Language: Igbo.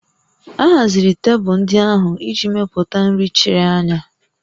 A haziri tebụl ndị ahụ iji mepụta nri chiri anya